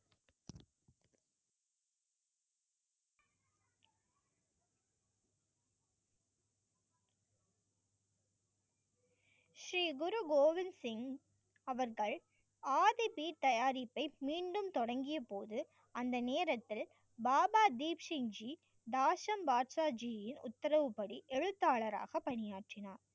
ஸ்ரீ குரு கோவிந் ஸ்ரீ அவர்கள் ஆதி பீப் தயாரிப்பை மீண்டும் தொடங்கிய போது அந்த நேரத்தில் பாபா தீப் சிங் ஜி தாட்ஷம் பாக்சா ஜியின் உத்தரவுப்படி எழுத்தாளராக பணியாற்றினார்.